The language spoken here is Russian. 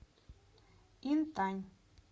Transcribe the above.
интань